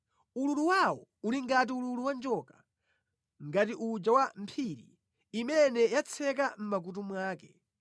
Ululu wawo uli ngati ululu wa njoka, ngati uja wa mphiri imene yatseka mʼmakutu mwake.